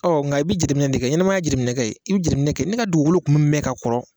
Ɔ nka i bɛ jatiminɛ de kɛ, ɲɛnɛmaya ye jateminɛ kɛ ye, i bɛ jateminɛ kɛ ne ka dugukolo kun bɛ mɛn ka kɔrɔ.